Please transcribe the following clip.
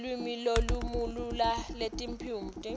lulwimi lolumalula netiphumuti